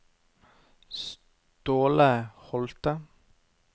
Ståle Holthe